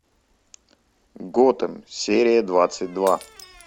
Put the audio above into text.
готем серия двадцать два